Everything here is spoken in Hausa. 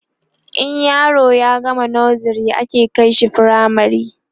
in yaro ya gama nursery ake kaishi firamare